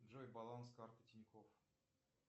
джой баланс карты тинькоф